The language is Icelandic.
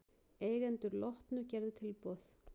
Eigendur Lotnu gerðu tilboð